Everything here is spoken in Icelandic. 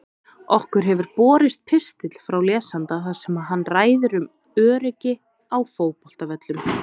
Okkur hefur borist pistill frá lesanda þar sem hann ræðir um öryggi á fótboltavöllum.